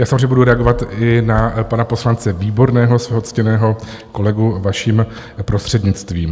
Já samozřejmě budu reagovat i na pana poslance Výborného, svého ctěného kolegu, vaším prostřednictvím.